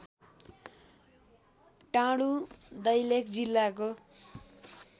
टाँडु दैलेख जिल्लाको